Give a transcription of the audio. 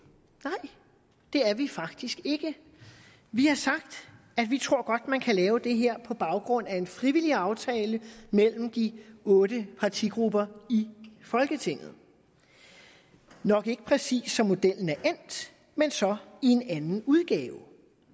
nej det er vi faktisk ikke vi har sagt at vi tror godt man kan lave det her på baggrund af en frivillig aftale mellem de otte partigrupper i folketinget nok ikke præcis som modellen er endt men så i en anden udgave